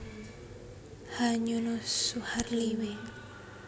H Nyono Suharli W